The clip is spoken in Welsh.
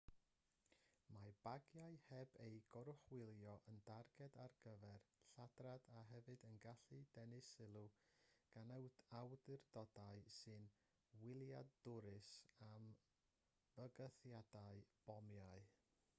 mae bagiau heb eu goruchwylio yn darged ar gyfer lladrad a hefyd yn gallu denu sylw gan awdurdodau sy'n wyliadwrus am fygythiadau bomiau